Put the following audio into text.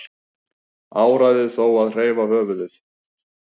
Áræði þó að hreyfa höfuðið.